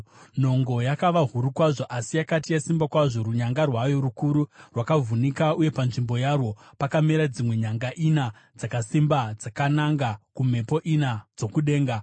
Nhongo yakava huru kwazvo, asi yakati yasimba kwazvo, runyanga rwayo rukuru rwakavhunika, uye panzvimbo yarwo pakamera dzimwe nyanga ina dzakasimba dzakananga kumhepo ina dzokudenga.